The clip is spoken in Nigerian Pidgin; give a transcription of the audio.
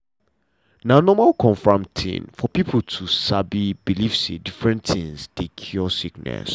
na normal um tin for pipo to um believe say different tins dey cure sickness.